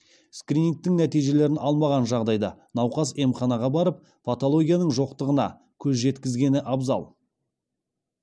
скринингтің нәтижелерін алмаған жағдайда науқас емханаға барып патологияның жоқтығына көз жеткізгені абзал